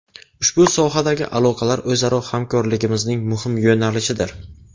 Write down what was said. Ushbu sohadagi aloqalar o‘zaro hamkorligimizning muhim yo‘nalishidir”.